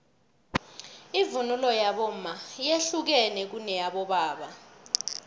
ivunulo yabomma yehlukene kuneyabobaba